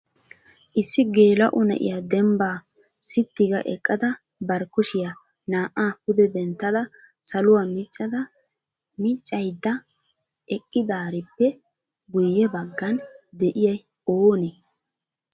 issi geela''o na'iyaa dembba sitti ga eqqada bari kushiyaa naa''a pude denttada saluwaa miccada miiccaydda eqqidaarippe guyye baggan de'iyay oonee?